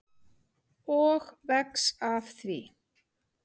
Og vex af því.